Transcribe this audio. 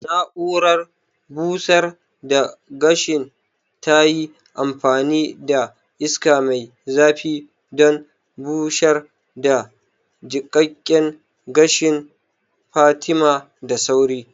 Na'urar busar da gashin tayi amfani da iska mai zafi don busar da jiƙaƙƙen gashin Fatima da sauri